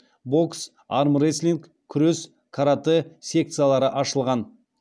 бокс армрестлинг күрес каратэ секциялары ашылған